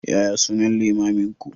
Yaya sunan limaminku?